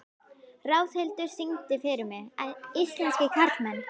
Ráðhildur, syngdu fyrir mig „Íslenskir karlmenn“.